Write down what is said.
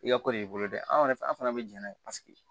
I ka ko de y'i bolo dɛ anw yɛrɛ fɛ an fana bɛ jɛn n'a ye paseke